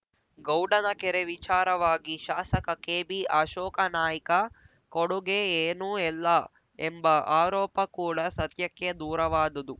ಗೌಡನ ಕೆರೆ ವಿಚಾರವಾಗಿ ಶಾಸಕ ಕೆಬಿ ಅಶೋಕನಾಯ್ಕ ಕೊಡುಗೆ ಏನು ಎಲ್ಲ ಎಂಬ ಆರೋಪ ಕೂಡ ಸತ್ಯಕ್ಕೆ ದೂರವಾದುದು